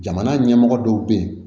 Jamana ɲɛmɔgɔ dɔw bɛ yen